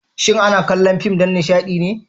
shin ana kallo fim dan Nishadine?